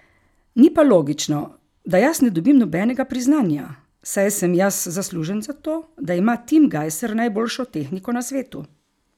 Ni pa logično, da jaz ne dobim nobenega priznanja, saj sem jaz zaslužen za to, da ima Tim Gajser najboljšo tehniko na svetu.